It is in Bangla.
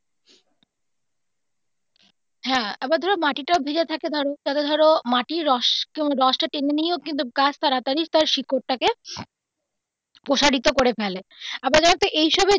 হ্যা আবার ধরো মাটি টাও ভেজা থাকে ধরো তারপরে ধরো মাটির রস টা টেনে নিয়েও কিন্তু গাছ তাড়াতাড়ি তার শিকড় টাকে প্রসারিত করে ফেলে আবার জানতো এই সবে.